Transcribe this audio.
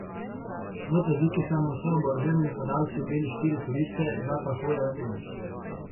V Tadžikistanu so oboroženi napadalci ubili štiri turiste, dva pa huje ranili.